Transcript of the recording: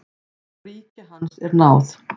Og ríki hans er náð.